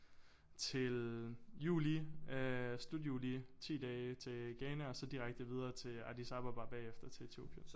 Til juli øh slut juli 10 dage til Ghana og så direkte videre til Addis Ababa bagefter til Etiopien